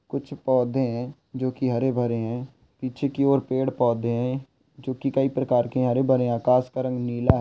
कुछ पौधे है जो की हरे भरे है पीछे की ओर पेड़ पौधे जो कि कई प्रकार के हरे भरे आकाश का रंग नीला है।